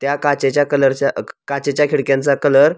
त्या काचेच्या कलरच्या क काचेच्या खीडक्यांचा कलर --